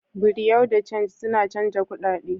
Bureau de change suna chanzan kudade.